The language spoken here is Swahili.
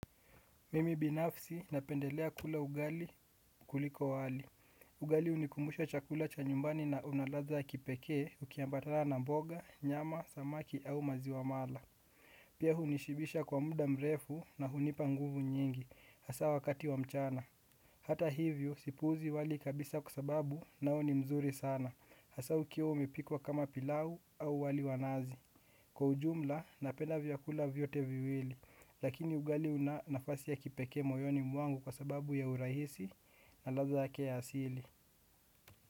Mimi binafsi napendelea kula ugali kuliko wali. Ugali hunikumbusha chakula cha nyumbani na una ladha ya kipekee ukiambatana na mboga, nyama, samaki au maziwa mala. Pia hunishibisha kwa muda mrefu na hunipa nguvu nyingi, hasa wakati wa mchana. Hata hivyo sipuuzi wali kabisa kwa sababu nao ni mzuri sana, hasa ukiwa umepikwa kama pilau au wali wa nazi. Kwa ujumla, napenda vyakula vyote viwili, lakini ugali una nafasi ya kipekee moyoni mwangu kwa sababu ya urahisi na ladha yake ya asili.